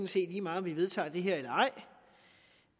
set lige meget om vi vedtager det her eller ej